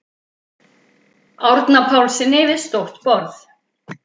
Árna Pálssyni við stórt borð.